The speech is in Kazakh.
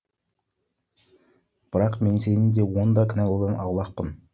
бірақ мен сені де оны да кінәлаудан аулақпын